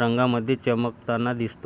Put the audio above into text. रंगांमध्ये चमकताना दिसतो